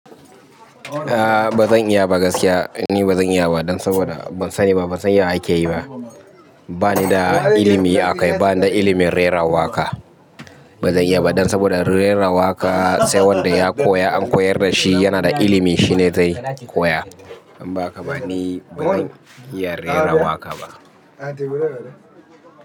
Aaa bazan iya ba gaskiya, ni bazan iya ba dan saboda ban sani ba, ban san ya ake yi ba. Ba ni da ilimi akai, ba ni da ilimin rera waƙa. Bazan iya ba dan saboda rera waƙa sai wanda ya koya an koyar da shi, yana da ilimi shine zai koya. In ba haka ba ni bazan iya rera waƙa ba.